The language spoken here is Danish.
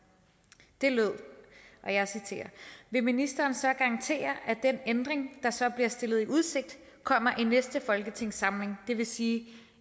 det lød og jeg citerer vil ministeren så garantere at den ændring der så bliver stillet i udsigt kommer i næste folketingssamling det vil sige